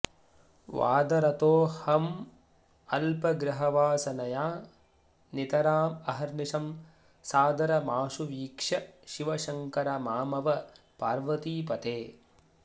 वादरतोहमल्पगृहवासनया नितरामहर्निशं सादरमाशु वीक्ष्य शिव शङ्कर मामव पार्वतीपते